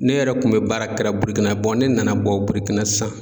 Ne yɛrɛ kun be baara kɛra burikina bɔn ne nana bɔ burukina sisan